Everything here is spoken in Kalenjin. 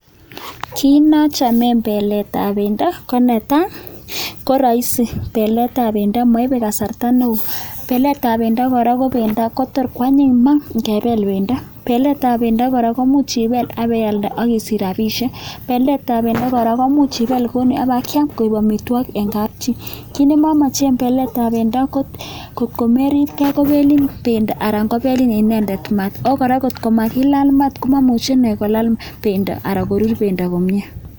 Kit notok eng beletab bendo ko rahisi beletab bendo maibei kasarta neo, beletab bendo kora koto kwanyin maa ngebel bendo, beletab bendo komuch ibel ak kealda ak isich rabiishek, beletab bendo komuch ibel ak kiam koek amitwogik eng kapchi. Kit ne mamache beletab ko ngomeribgei kobelin bendo anan kobelin inendet maat ako kora ngo makilal mat komemuch ine kolal bendo anan korur bendo komie.